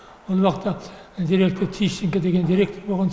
ол уақытта директор тищенко деген директор болған